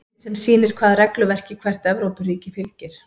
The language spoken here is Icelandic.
Mynd sem sýnir hvaða regluverki hvert Evrópuríki fylgir.